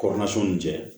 Kɔrɔmason ni cɛ